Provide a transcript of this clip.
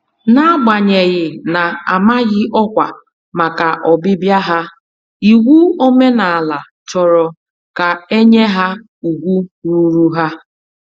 N'agbanyeghị na -amaghị ọkwa màkà ọbịbịa ha, iwu omenala chọrọ ka enye ha ùgwù ruuru ha.